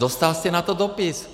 Dostal jste k tomu dopis.